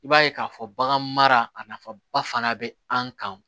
I b'a ye k'a fɔ bagan mara nafa ba fana bɛ an kan